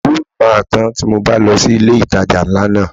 Owó mi máa tán tí mo bá lọ sí ilé ìtajà ńlá náà.